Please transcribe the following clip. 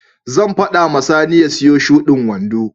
Zan faɗa wa Sani ya siyo shudin wando.